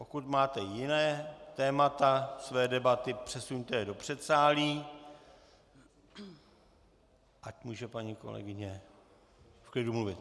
Pokud máte jiná témata své debaty, přesuňte je do předsálí, ať může paní kolegyně v klidu mluvit.